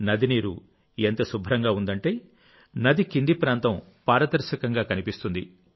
నది నీరు ఎంత శుభ్రంగా ఉందంటే నది కింది ప్రాంతం పారదర్శకంగా కనిపిస్తుంది